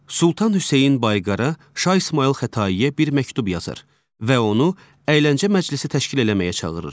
Sultan Hüseyn Bayqara Şah İsmayıl Xətaiyə bir məktub yazır və onu əyləncə məclisi təşkil eləməyə çağırır.